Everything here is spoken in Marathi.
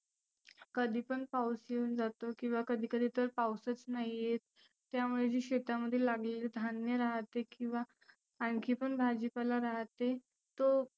कधी पण पाऊस येऊन जातो, किंवा कधी कधी तर पाऊसच नाही येत. त्यामुळे जे शेतामध्ये लागलेले धान्य राहते किंवा आनखी पण भाजी पाला राहते तो